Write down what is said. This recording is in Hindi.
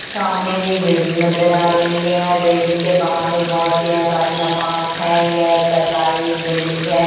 सामने में एक बिल्डिंग नजर आ रही है बिल्डिंग के बाहर में बहुत सी अ गाड़ियां पार्क हैं यह एक सरकारी बिल्डिंग है।